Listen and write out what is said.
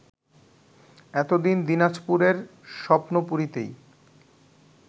এতদিন দিনাজপুরের স্বপ্নপুরীতেই